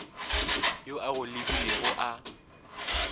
yo a go lebilego a